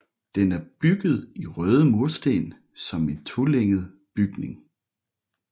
Den er bygget i røde mursten som en tolænget bygning